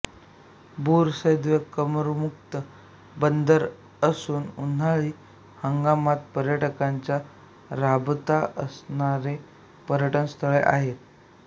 बुर सैद करमुक्त बंदर असून उन्हाळी हंगामात पर्यटकांचा राबता असणारे पर्यटनस्थळ आहे